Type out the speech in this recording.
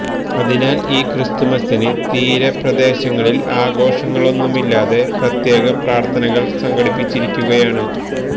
അതിനാല് ഈ ക്രിസ്തുമസിന് തീര പ്രദേശങ്ങളില് ആഘോഷങ്ങളൊന്നുമില്ലാതെ പ്രത്യേക പ്രകത്ഥനകള് സംഘടിപ്പിച്ചിരിക്കുകയാണ്